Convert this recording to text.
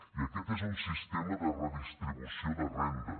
i aquest és un sistema de redistribució de renda